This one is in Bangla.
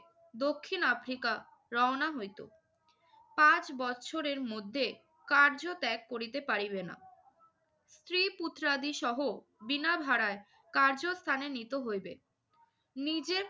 দক্ষিণ আফ্রিকা রওনা হইত। পাঁচ বছরের মধ্যে কার্য ত্যাগ করিতে পারিবে না। স্ত্রী পুত্রাদিসহ বিনা ভাড়ায় কার্যস্থানে নীত হইবে। নিজের